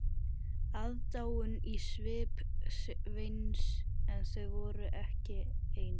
Aðdáun í svip Sveins en þau voru ekki ein.